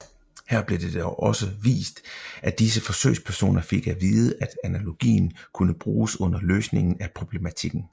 Her blev det dog også vist at disse forsøgspersoner fik at vide at analogien kunne bruges under løsningen af problematikken